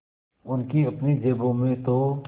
उनकी अपनी जेबों में तो